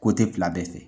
Ko te fila bɛɛ fɛ